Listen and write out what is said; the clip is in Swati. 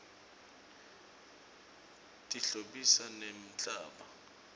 tihlobisa nemhlaba